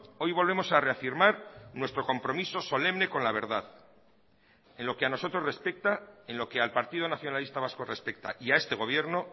hoy volvemos a reafirmar nuestro compromiso solemne con la verdad en lo que a nosotros respecta en lo que al partido nacionalista vasco respecta y a este gobierno